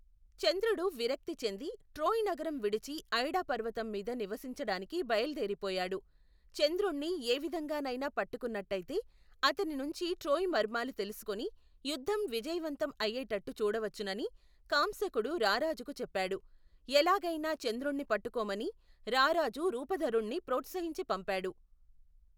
చంద్రుడు విరక్తిచెంది ట్రోయ్ నగరం విడిచి ఐడాపర్వతంమీద నివసించడానికి బయలుదేరిపోయాడు. చంద్రుణ్ణి ఏ విధంగానైనా పట్టుకున్నట్టయితే అతని నుంచి ట్రోయ్ మర్మాలు తెలుసుకుని యుద్ధం విజయవంతం అయేటట్టు చూడవచ్చునని కాంశకుడు రారాజుకు చెప్పాడు. ఎలాగైనా చంద్రుణ్ణి పట్టుకోమని రారాజు రూపధరుణ్ణి ప్రొత్సహించి పంపాడు.